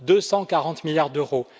240 milliards d'euros